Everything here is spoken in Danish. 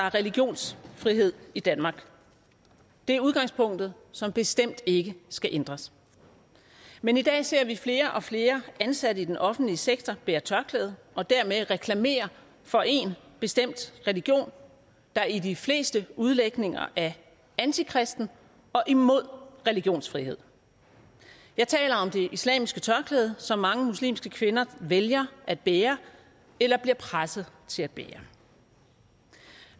er religionsfrihed i danmark det er udgangspunktet som bestemt ikke skal ændres men i dag ser vi flere og flere ansatte i den offentlige sektor bære tørklæde og dermed reklamere for en bestemt religion der i de fleste udlægninger er antikristen og imod religionsfrihed jeg taler om det islamiske tørklæde som mange muslimske kvinder vælger at bære eller bliver presset til at bære